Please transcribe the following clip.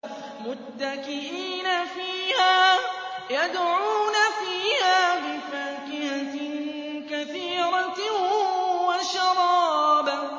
مُتَّكِئِينَ فِيهَا يَدْعُونَ فِيهَا بِفَاكِهَةٍ كَثِيرَةٍ وَشَرَابٍ